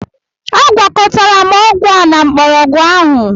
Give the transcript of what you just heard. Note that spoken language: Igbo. Agwakọtara m ọgwụ a na mgbọrọgwụ ahụ.